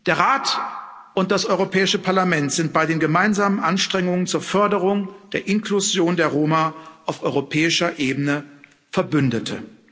Der Rat und das Europäische Parlament sind bei den gemeinsamen Anstrengungen zur Förderung der Inklusion der Roma auf europäischer Ebene Verbündete.